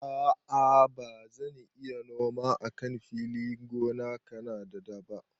A'a bazan iya noma a kan filin gona na kadada ba.